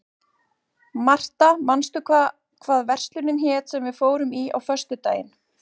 Martha, manstu hvað verslunin hét sem við fórum í á föstudaginn?